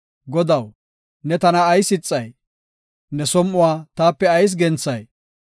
Godaw, ne tana ayis ixay? Ne som7uwa taape ayis genthay?